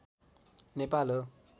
नेपाल हो